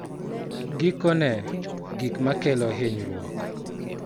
Gikone, gik ma kelo hinyruok